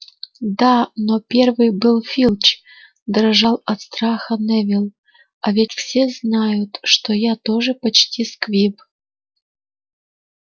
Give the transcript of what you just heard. да но первый был филч дрожал от страха невилл а ведь все знают что я тоже почти сквиб